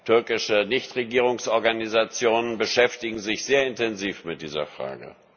Türkische Nichtregierungsorganisationen beschäftigen sich sehr intensiv mit dieser Frage.